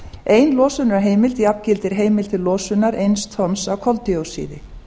ein losunarheimild jafngildir heimild til losunar eins tonns af koldíoxíði